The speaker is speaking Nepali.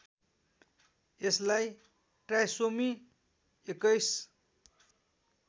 यसलाई ट्राइसोमी २१